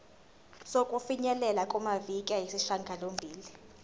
sokufinyelela kumaviki ayisishagalombili